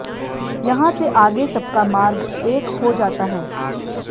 यहां से आगे सबका मार्ग एक हो जाता है